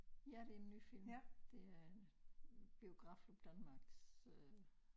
Ja det en ny film det er en Biografklub Danmarks øh